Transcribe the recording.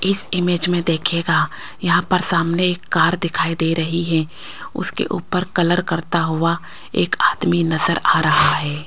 इस इमेज में देखिएगा यहां पर सामने एक कार दिखाई दे रही है उसके ऊपर कलर करता हुआ एक आदमी नजर आ रहा है।